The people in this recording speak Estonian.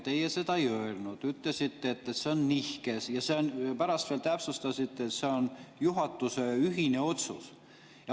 Teie seda ei öelnud, te ütlesite, et see on nihkes, ja pärast veel täpsustasite, et see on juhatuse ühine otsus.